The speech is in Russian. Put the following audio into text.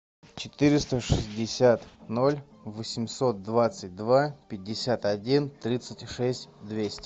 четыреста шестьдесят ноль восемьсот двадцать два пятьдесят один тридцать шесть двести